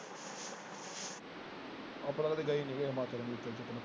ਆਪਾਂ ਤੇ ਗਏ ਹੀ ਨੀ ਹਿਮਾਚਲ ਹਿਮੂਚਲ ਚ।